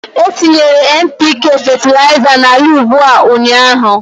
Etinyere NPK fetịlaịza n'ala ugbo a ụnyaahụ